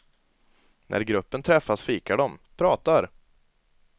När gruppen träffas fikar de, pratar.